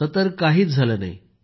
असं तर काहीही झालं नाही